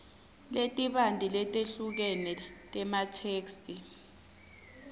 letibanti letehlukene tematheksthi